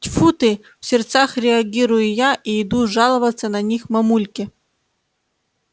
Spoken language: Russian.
тьфу ты в сердцах реагирую я и иду жаловаться на них мамульке